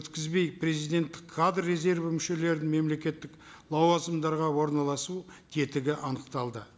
өткізбей президенттік кадр резерві мүшелерін мемлекеттік лауазымдарға орналасу тетігі анықталды